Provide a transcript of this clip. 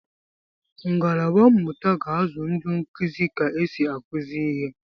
Ngalaba mmụta ga-azụ ndị nkuzi ka esi akụzi ihe